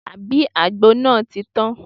Àbí àgbo náà ti tán?